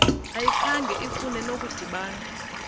ayikhange ifune nokudibana